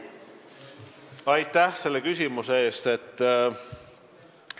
Aitäh selle küsimuse eest!